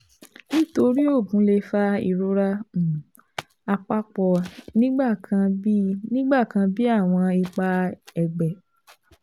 Nitori oogun le fa irora um apapo nigbakan bi nigbakan bi awọn ipa ẹgbẹ